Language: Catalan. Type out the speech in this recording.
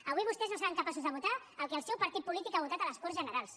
avui vostès no seran capaços de votar el que el seu partit polític ha votat a les corts generals